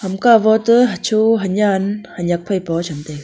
ham ka wo to hacho hanyan hanyak phai poo cham taiga.